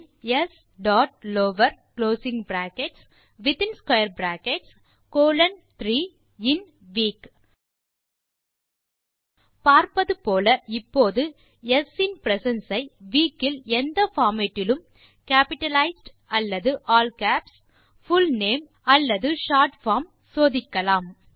பின் s dot lower closing bracket பின் in square brackets colon 3 பின் in week பார்ப்பது போல இப்போது ஸ் இன் பிரசன்ஸ் ஐ வீக் இல் எந்த பார்மேட் இலும் கேப்பிட்டலைஸ்ட் அல்லது ஆல் கேப்ஸ் புல் நேம் அல்லது ஷார்ட் பார்ம் - சோதிக்கலாம்